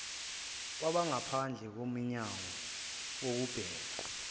kwabangaphandle komnyanngo kubhekwa